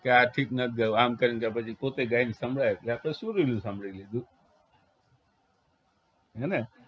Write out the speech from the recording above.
કે આ ઠીક નથી ગાવ આમ કરીને ત્યારપછી પોતે ગાઈ સંભળાવે આ તો સુરીલું સાંભળી લીધું હે ને?